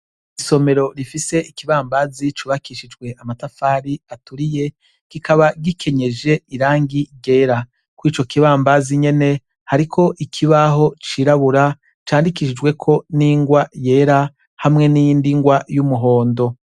Isomero rifise Ikibambazi cubakishijwe amatafari aturiye, kikaba gikenyeje irangi ryera. Kurico kibambazi nyene, hariko Ikibaho cirabura candikishijweko n'ingwa yera, hamwe niyindi ngwa y'umuhondo.